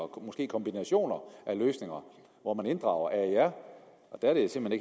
måske kombination af løsninger hvor man inddrager aer der er det simpelt